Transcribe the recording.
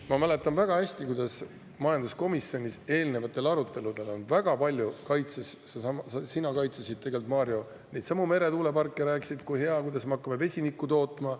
Ma mäletan väga hästi, kuidas majanduskomisjonis eelnevatel aruteludel sina, Mario, kaitsesid neidsamu meretuuleparke, rääkisid, kui hea, et me hakkame vesinikku tootma.